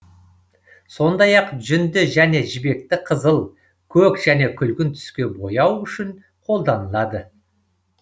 сондай ақ жүнді және жібекті қызыл көк және күлгін түске бояу үшін қолданылады